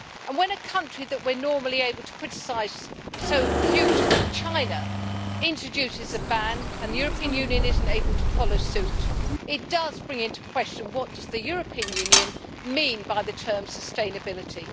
When a country that we are normally able to criticise so hugely, China, introduces a ban, and the European Union is not able to follow suit, it does bring into question what does the European Union mean by the term sustainability'.